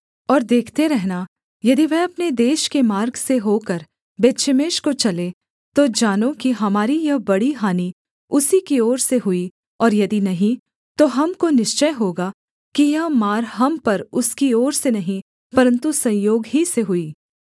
और देखते रहना यदि वह अपने देश के मार्ग से होकर बेतशेमेश को चले तो जानो कि हमारी यह बड़ी हानि उसी की ओर से हुई और यदि नहीं तो हमको निश्चय होगा कि यह मार हम पर उसकी ओर से नहीं परन्तु संयोग ही से हुई